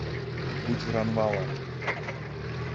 гуджранвала